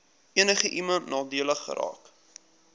enigiemand nadelig geraak